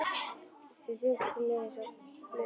Þeir þyrptust að mér einsog flugur.